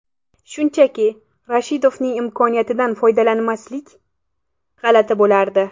Shunchaki, Rashidovning imkoniyatidan foydalanmaslik, g‘alati bo‘lardi.